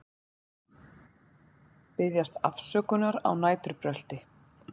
Biðjast afsökunar á næturbrölti